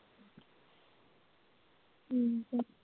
ਠੀਕ ਹੈ।